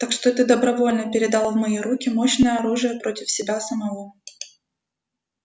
так что ты добровольно передал в мои руки мощное оружие против себя самого